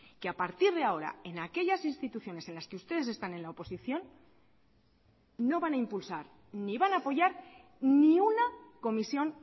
que a partir de ahora en aquellas instituciones en las que ustedes están en la oposición no van a impulsar ni van a apoyar ni una comisión